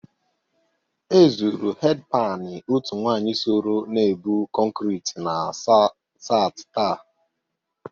E zụrụ hedpani otu nwaanyị soro na-ebụ kọnkrị na sati taa.